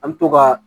An bɛ to ka